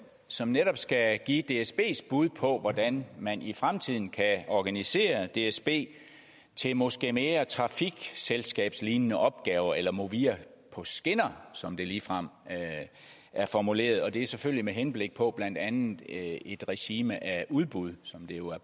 som netop skal give dsbs bud på hvordan man i fremtiden kan organisere dsb til måske mere trafikselskabslignende opgaver eller et movia på skinner som det ligefrem er formuleret og det er selvfølgelig med henblik på blandt andet et regime af udbud som det jo af